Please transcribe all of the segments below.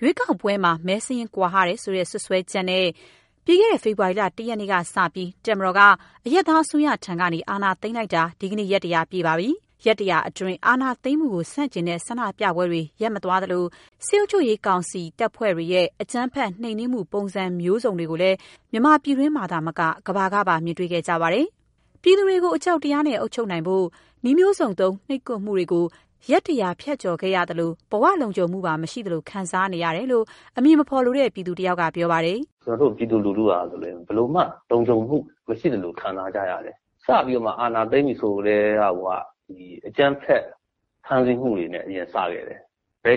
ရွေးကောက်ပွဲမှာ မဲစာရင်းကွာဟတယ်ဆိုတဲ့ စွပ်စွဲချက်နဲ့ ပြီးခဲ့တဲ့ ဖေဖော်ဝါရီ ၁ ရက်နေ့က စပြီး တပ်မတော်က အရပ်သားအစိုးရဆီကနေ အာဏာသိမ်းလိုက်တာ ဒီကနေ့ ရက် ၁၀၀ ပြည့်ပြီဖြစ်ပါတယ်။ ရက် ၁၀၀ အတွင်း အာဏာသိမ်းမှုကို ဆန့်ကျင်တဲ့ ဆန္ဒပြမှုတွေ ရပ်မသွားသလို စစ်အုပ်ချုပ်ရေးကောင်စီရဲ့ လုံခြုံရေးအဖွဲ့တွေရဲ့ အကြမ်းဖက် နှိမ်နင်းမှု ပုံစံမျိုးစုံတွေကိုလည်း မြန်မာပြည်တွင်းမှာသာမက ကမ္ဘာကပါ မြင်တွေ့ခဲ့ကြရပါတယ်။ ပြည်သူတွေကို အကြောက်တရားနဲ့ အုပ်ချုပ်နိုင်ဖို့ နည်းမျိုးစုံသုံး နှိပ်ကွပ်မှုကြားမွာ ရက် ၁၀၀ ကို ဖြတ်ကျော်ခဲ့ရသလို ဘဝလုံခြုံမှုပါ မရှိသလို ခံစားနေရတယ်လို့ အမည်မဖော်လိုတဲ့ ပြည်သူတယောက်က ပြောပါတယ်။ "ကျနော်တို့ ပြည်သူလူထုဟာ ဘယ်လိုမှ လုံခြုံမှုမရှိသလို ခံစားကြရတယ်။ စပြီးတော့မှ အာဏာသိမ်းပြီဆိုကတည်းကကိုက အကြမ်းဖက်ဖမ်းဆီးမှုတွေနဲ့ အရင် စခဲ့တယ်။ ကို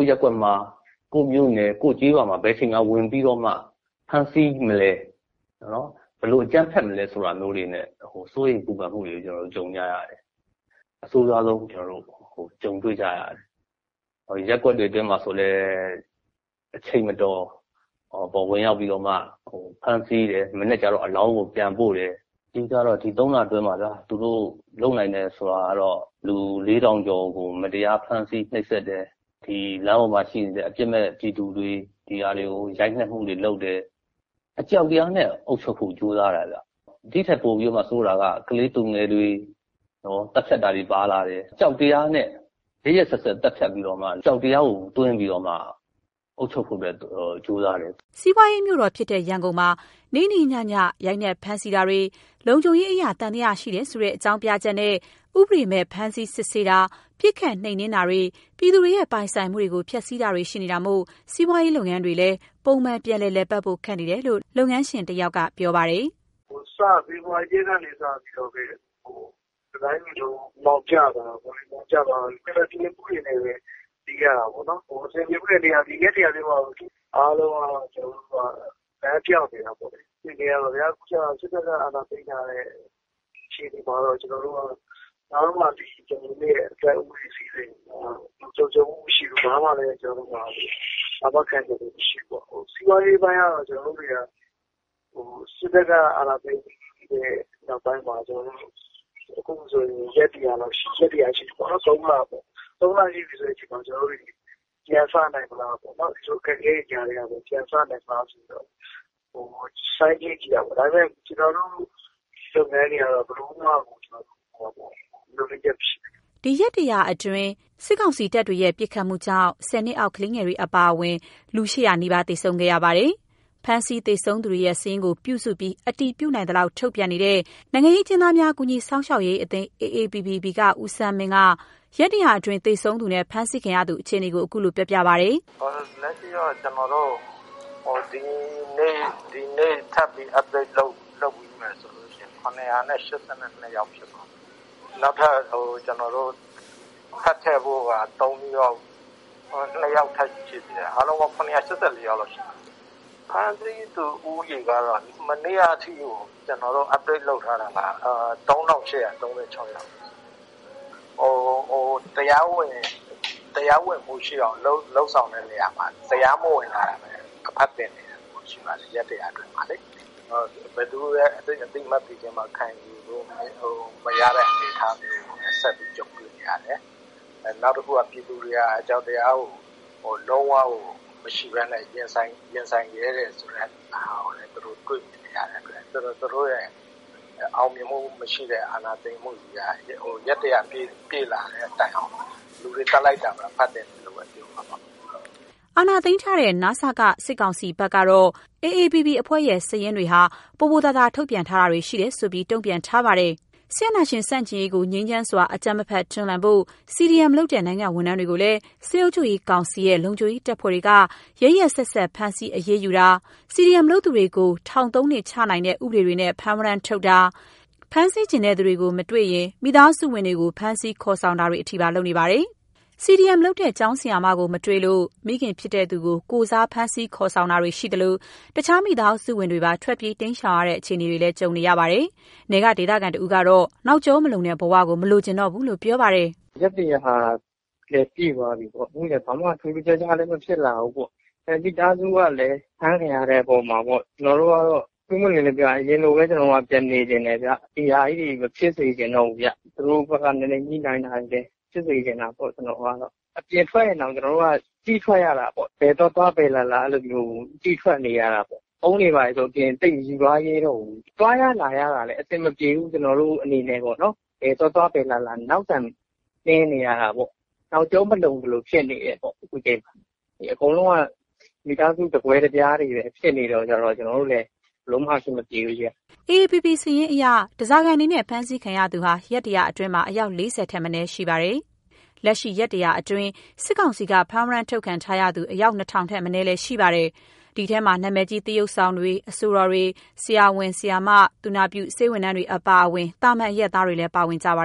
ယ့်ရပ်ကွက်မှာ၊ ကိုယ့်မြို့နယ်၊ ကိုယ့်ကျေးရွာမှာ ဘယ်ချိန်မှာ ဝင်ပြီတော့မှ ဖမ်းဆီးမလဲ။ ဘယ်လိုအကြမ်းဖက်မလဲဆိုတာမျိုးတွေနဲ့ စိုးရိမ်ပူပန်မှုတွေနဲ့ ကျနော်တို့ ကြုံကြရတယ်။ အဆိုးရွားဆုံး ကျနော်တို့ ကြုံတွေ့ကြရတယ်။ ရပ်ကွက်တွေတွင်းမှာဆိုလည်း အချိန်မတော် ဝင်ရောက်ပြီးတော့မှ ဖမ်းဆီးတယ်။ မနက်ကျတော့ အလောင်းလာပို့တယ်။ ဒီ ၃ လအတွင်းမှာ သူတို့လုပ်နိုင်တယ်ဆိုတာကတော့ လူ ၄,၀၀၀ ကျော်ကို မတရားဖမ်းဆီး နှိပ်စက်တယ်။ လမ်းပေါ်မှာရှိနေတဲ့ အပစ်မဲ့ ပြည်သူတွေကို ရိုက်နှက်မှုတွေလုပ်တယ်။ အကြောက်တရားနဲ့ အုပ်ချုပ်ဖို့ ကြိုးစားတာဗျ။ ဒီထက်ပိုပြီးတော့ ဆိုးတာက ကလေးသူငယ်တွေ သတ်ဖြတ်တာတွေပါလာတယ်။ အကြောက်တရားနဲ့ ရက်ရက်စက်စက် သတ်ဖြတ်ပြီးတော့မှ အကြောက်တရားကို သွင်းပြီးတော့မှ အုပ်ချုပ်ဖို့ကြိုးစားတယ်။" စီးပွားရေးမြို့တော်ဖြစ်တဲ့ ရန်ကုန်မြို့မှာ နေ့နေ့ညည ရိုက်နှက် ဖမ်းဆီးမှုတွေ၊ လုံခြုံရေးအရ သံသယ ရှိတယ်ဆိုတဲ့ အကြောင်းပြချက်နဲ့ ဥပဒေမဲ့ စစ်ဆေးဖမ်းဆီးတာတွေ၊ ပစ်ခတ်နှိမ်နင်းတာတွေ၊ ပြည်သူတွေရဲ့ ပိုင်ဆိုင်မှုတွေကို ဖျက်ဆီးတာတွေ ရှိနေတာမို့ စီးပွားရေး လုပ်ငန်းတွေလည်း ပုံမှန်လို ပြန်လည် လည်ပတ်ဖို့ ခက်နေတယ်လို့ လုပ်ငန်းရှင်တဦးကပြောပါတယ်။ "ဖေဖော်ဝါရီ ၁ ရက်နေ့ကစလို့ တတိုင်းတပြည်လုံး အမှောင်ကျသွားတာ။ အကုန်အဆင်မပြေမှုတွေနဲ့ဘဲ ရင်ဆိုင်နေရတာပေါ့။ ဒီ ရက် ၁၀၀ အတွင်းမှာ အားလုံး လမ်းပျောက်နေရတာပေါ့။ စစ်တပ်အာဏာသိမ်းထားတာမှာ အသက်အိုးအိမ်စည်းစိမ်ဆိုတာ လုံခြုံမှုမရှိဘူး။ ဘာမှ အာမခံချက်မရှိဘူးဖြစ်နေတယ်။ ကျနော်တို့ စီးပွားရေးပိုင်းမှာလည်း စစ်တပ်အာဏာသိမ်းပြီးနောက်မှာ အခုဆိုရင် ရက် ၁၀၀ ရှိပြီ... ၃ လရှိပြီပေါ့လေ။ ပြန်လုပ်နိုင်မလား ကြိုးစားပေမဲ့ ကျနော်တို့ လုပ်ငန်းတွေကတော့ ဘယ်လိုမှကို မျှော်လင့်ချက်မရှိဘူး။" ဒီရက် ၁၀၀ အတွင်း တပ်တွေရဲ့ ပစ်ခတ်မှုကြောင့် ၁၀ နှစ်အောက် ကလေးငယ်တွေအပါအဝင် ၈၀၀ သေဆုံးခဲ့ကြရပါတယ်။ ဖမ်းဆီးသေဆုံးသူတွေရဲ့ စာရင်းကို ပြုစုပြီး အတည်ပြုနိုင်သလောက် ထုတ်ပြန်နေတဲ့ နိုင်ငံရေးအကျဉ်းသားများ ကူညီစောင့်ရှောက်ရေးအသင်း AAPP က ဦးဆန်းမင်းက ရက် ၁၀၀ အတွင်း သေဆုံးနဲ့ ဖမ်းဆီးခံရသူ အခြေအနေကို ခုလိုပြောပြပါတယ်။ "လက်ရှိ ဒီနေ့ update ဆိုရင် ၇၈၂ ယောက်ဖြစ်မယ်။ နောက်ထပ် ထည့်ဖြည့်ဖို့က ၂ ယောက် ထပ်ထည့်မယ်ဆိုရင် အားလုံးပေါင်း ၇၈၄ ယောက်လောက်ရှိတယ်။ ဖမ်းဆီးခံရသူဦးရေကတော့ မနေက အထိကို ၃,၈၃၆ ယောက် ရှိတယ်။ သူတို့လည်း သူတို့ တရားဝင်အော်လုပ်ဆောင်တာမှာ တရားမဝင်တာဘဲ အဖတ်တင်တယ်ပြောရပါမယ်။ ရက် ၁၀၀ အတွင်းမှာလေ... ဘယ်သူမှ အသိအမှတ်ပြုတာ မခံရဘူးတဲ့ အနေအထားမျိုးမှာ ဆက်ပြီးတော့ ကြုံတွေ့နေရတယ်။ နောက်တခုကတော့ ပြည်သူတွေက အကြောက်တရားကို လုံးဝကို မရှိဘဲနဲ့ ရင်ဆိုင်ရဲတယ်ဆိုတာကို သူတို့တွေ့နေရတယ်။ သူတို့ရဲ့ အောင်မြင်မှုမရှိတဲ့ အာဏာသိမ်းမှုက ရက် ၁၀၀ ပြည့်လာတဲ့တိုင်အောင် လူတွေသတ်တာပဲ အဖတ်တင်တယ်ပြောရမယ်။" အာဏာသိမ်းထားတဲ့ န.စ.က ကောင်စီဘက်ကတော့ AAPP အဖွဲ့စာရင်းတွေက ပိုပိုသာသာ ထုတ်ပြန်ထားတာတွေ ရှိတယ်ဆိုပြီး တုံ့ပြန်ထားပါတယ်။ စစ်အာဏာရှင်ဆန့်ကျင်ရေးကို ငြိမ်းချမ်းစွာ အကြမ်းမဖက် တွန်းလှန်ဖို့ CDM လုပ်တဲ့ နိုင်ငံဝန်ထမ်းတွေကိုလည်း စစ်အုပ်ချုပ်ရေးကောင်စီရဲ့ လုံခြုံရေးအဖွဲ့တွေက ရက်ရက်စက်စက်ဖမ်းဆီးအရေးယူတာ၊ CDM လုပ်သူတွေကို ထောင် ၃ နှစ်ချနိုင်တဲ့ ဥပဒေတွေနဲ့ ဖမ်းဝရမ်းထုတ်ဖမ်းတာ၊ CDM လုပ်သူကို ဖမ်းတာမှာ ဖမ်းဆီးချင်သူမတွေ့ရင် မိသားစုဝင်တွေကို ဖမ်းဆီးခေါ်ဆောင်တာတွေထိပါ လုပ်နေပါတယ်။ အမလုပ်သူ CDM လုပ်တဲ့ ကျောင်းဆရာမကို မတွေ့လို့ မိခင်ဖြစ်သူကို အမကိုယ်စားဖမ်းခေါ်တာခံရသလို တခြားမိသားစုဝင်တွေပါ ထွက်ပြေးတိမ်းရှောင်နေရတဲ့ အခြေအနေနဲ့ကြုံနေရတယ် နယ်က ဒေသခံတဦးကတော့ နောက်ကျောမလုံတဲ့ ဘဝကို မလိုချင်တော့ဘူးလို့ဆိုပါတယ်။ "ရက် ၁၀၀ လည်းပြည့်သွားပြီပေါ့... ဘာမှထူးထူးခြားခြားလည်း ဖြစ်မလာဘူး။ မိသားစုကလည်း ဖမ်းခံရတယ်အပေါ်မှာ ပွင့်ပွင့်လင်းလင်းပြောရရင် ကျနော်တို့ကတော့ အရင်လိုပဲ ပန်နေချင်တယ်။ ဒီ ဟာကြီးတွေ မဖြစ်စေချင်တော့ဘူး။ သူတို့ဘက်က ညှိနှိုင်းတာမျိုးဖြစ်စေချင်တာပေါ့။ အပြင်ထွက်တာတောင် ကြည့်ထွက်နေရတယ်။ ဘယ်သွားသွား၊ ဘယ်လာလာကြည့်သွားနေရတယ်။ ဖုန်းတွေဘာတွေဆို သိပ်မယူသွာရဲတော့ဘူး။ သွားလာရတာကအစနောက်ဆံတင်းနေရတယ်။ နောက်ကျောမလုံဘူး။ အကုန်လုံးက မိသားစုတကွဲတ ပြားနဲ့ ဖြစ်နေတော့ ဘယ်လိုမှ အဆင်မပြေဘူးဗျ။" AAPP စာရင်းအရ ဓားစာခံအနေနဲ့ ဖမ်းခံရသူဟာ ရက် ၁၀၀ အတွင်း အယောက် ၄၀ မထက်မနည်းရှိပါတယ်။ လက်ရှိ ရက် ၁၀၀ အတွင်း စစ်ကောင်စီက ဖမ်းဝရမ်းထုတ်ခံထားသူ အယောက် ၂,၀၀၀ ထက်မနည်း ရှိပါတယ်။ ဒီထဲမှာ နာမည်ကြီး သရုပ်ဆောင်တွေ အဆိုတော်တွေ၊ ဆရာဝန်၊ ဆရာမ သူနာပြုတွေအပါအဝင် သာမန်အရပ်သားတွေလည်း ပါဝင်ကြပါ